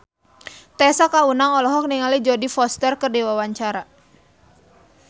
Tessa Kaunang olohok ningali Jodie Foster keur diwawancara